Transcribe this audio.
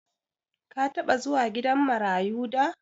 Ka taɓa zuwa gidan marayu da?